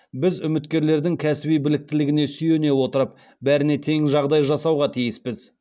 біз үміткерлердің кәсіби біліктілігіне сүйене отырып бәріне тең жағдай жасауға тиіспіз